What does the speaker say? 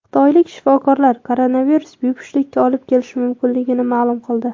Xitoylik shifokorlar koronavirus bepushtlikka olib kelishi mumkinligini ma’lum qildi .